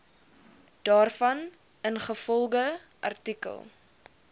daarvan ingevolge artikel